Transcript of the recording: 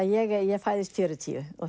ég fæðist fjörutíu og